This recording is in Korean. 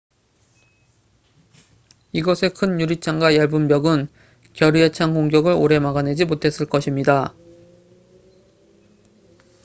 이것의 큰 유리창과 얇은 벽은 결의에 찬 공격을 오래 막아내지 못했을 것입니다